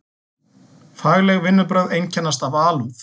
Fagleg vinnubrögð einkennast af alúð.